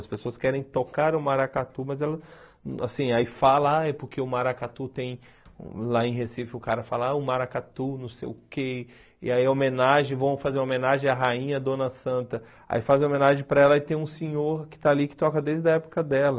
As pessoas querem tocar o maracatu, mas ela, assim, aí fala, ah, é porque o maracatu tem, lá em Recife o cara fala, ah, o maracatu, não sei o quê, e aí homenagem, vão fazer homenagem à rainha, à dona santa, aí fazem homenagem para ela e tem um senhor que está ali que toca desde a época dela.